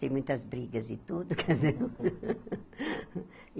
Teve muitas brigas e tudo, casa.